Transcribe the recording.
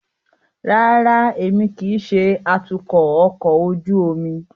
Rárá, Emi kii ṣe atukọ ọkọ ojú omi